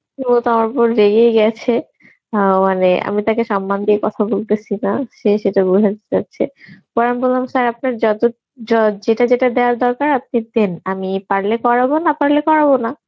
তো তারপর রেগেই গেছে অ্যাঁ মানে আমি তাকে সম্মান দিয়ে কথা বলতেসি না সে সেটা বোঝাতে চাচ্ছে পরে আমি বললাম sir আপনার যত য~ যেটা যেটা দেওয়ার দরকার আপনি দিন, আমি পারলে করাবো না পারলে করাবো না.